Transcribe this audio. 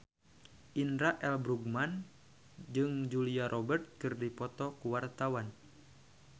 Indra L. Bruggman jeung Julia Robert keur dipoto ku wartawan